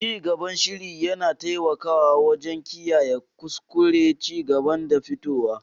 Cigaban shiri yana taimakawa wajen kiyaye kuskuren cigaban da fitowa.